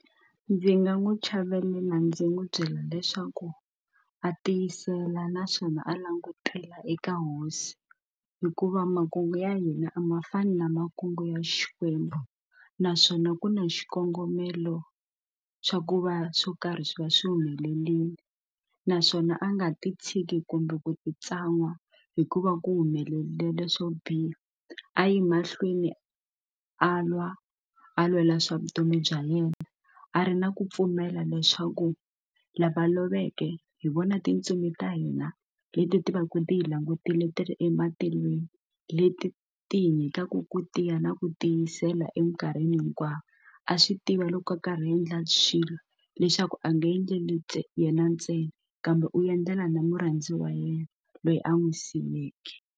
Ndzi nga n'wi chavelela ndzi n'wi byela leswaku a tiyisela naswona a langutela eka hosi hikuva makungu ya hina a ma fani na makungu ya xikwembu naswona ku na xikongomelo swa ku va swo karhi swi va swi humelerile naswona a nga ti tshiki kumbe ku ti tsan'wa hikuva ku humelelela swo biha a yi mahlweni a lwa a lwela swa vutomi bya yena a ri na ku pfumela leswaku lava loveke hi vona tintsumi ta hina leti ti va ti hi langutile ti ri ematilweni leti ti hi nyikaka ku tiya na ku tiyisela eminkarhini vanhu hinkwavo a swi tiva loko a karhi a endla swilo leswaku a nga endleli ta yena ntsena kambe u endlela na murhandziwa wa yena loyi a n'wi siyeke.